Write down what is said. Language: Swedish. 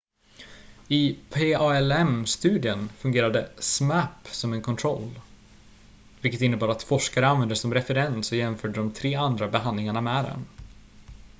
i palm-studien fungerade zmapp som en kontroll vilket innebar att forskare använde det som referens och jämförde de tre andra behandlingarna med den